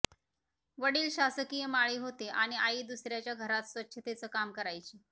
वडील शासकीय माळी होते आणि आई दुसर्याच्या घरात स्वच्छतेचं काम करायची